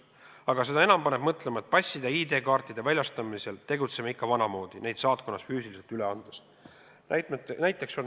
Aga seda enam paneb mõtlema, et passide ja ID-kaartide väljastamisel tegutseme ikka vanamoodi, neid saatkonnas füüsiliselt üle andes.